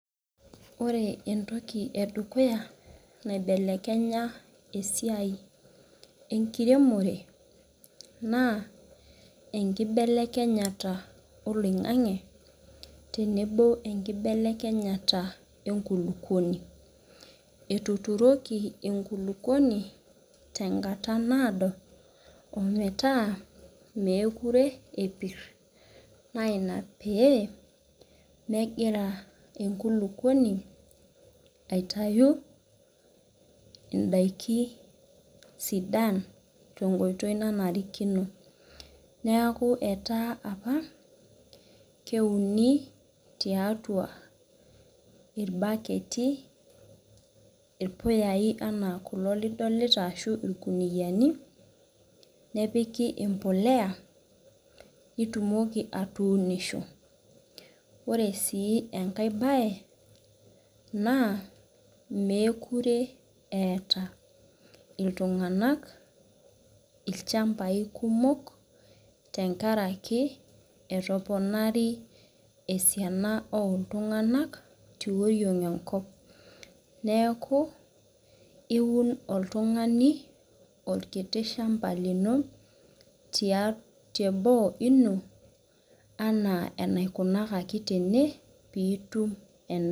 Ore entoki edukuya naibelekenya esiai enkiremore,,naa enkibelekenyata oloingange tenebo wenkibelekenyata enkulupuoni. Etuturoki enkulukuoni tenkata naado ometaa mepir enkulukuoni naa ina pee megira enkulukuoni aitayu ndaikin sidan tenkoitoi nanarikino. Neeku etaa apa keuni tiatua irbaketi ,irpuyai ena kulo lidolita ashu irkuniyiani nepiki embolea ,nitumoki atuunisho. Ore sii enkae bae ,mookure eeta iltungank ilchamapai kumok tenkaraki etoponari esiana iltungank tioriong enkop. Neeku iun oltungani orkiti shampa lino, teboo ino enaa enaikunakaki tene pee itum endaa.